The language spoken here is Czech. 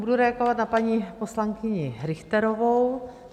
Budu reagovat na paní poslankyni Richterovou.